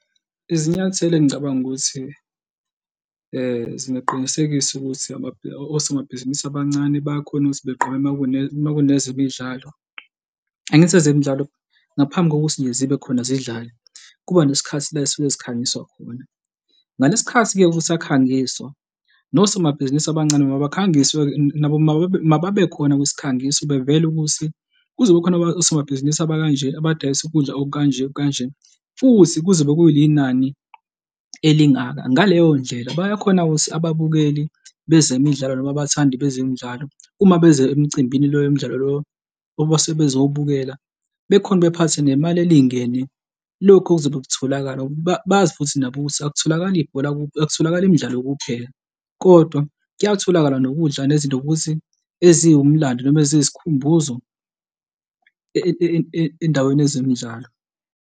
Izinyathelo engicabanga ukuthi zingaqinisekisa ukuthi osomabhizinisi abancane bayakhona ukuthi begqoke uma kunezemidlalo. Angithi ezemidlalo ngaphambi kokuthi nje zibe khona zidlale, kuba nesikhathi la ezisuke zikhangiswa khona. Ngalesi khathi-ke kusakhangiswa nosomabhizinisi abancane mabakhangiswe-ke nabo mababe, mababe khona kwisikhangiso bevele ukuthi kuzobe kukhona osomabhizinisi abakanje abadayisa ukudla okukanje okukanje, futhi kuzobe kuyinani elingaka. Ngaleyo ndlela bayakhona ukuthi ababukeli bezemidlalo noma abathandi bezemidlalo uma beze emcimbini lo mdlalo lo sebezobukela, bephathe nemali elingene. Lokhu okuzobe kutholakala bazi futhi nabo ukuthi akutholakali akutholakali imidlalo kuphela kodwa kuyatholakala nokudla nezinto ukuthi eziwumlando noma eziyisikhumbuzo endaweni yezemidlalo.